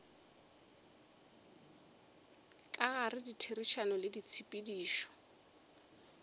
ka gare ditherišano le ditshepedišo